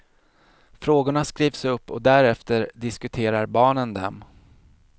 Frågorna skrivs upp och därefter diskuterar barnen dem.